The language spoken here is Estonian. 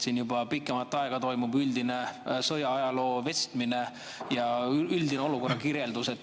Siin juba pikemat aega toimub aga üldise sõjaajaloo vestmine ja üldise olukorra kirjeldamine.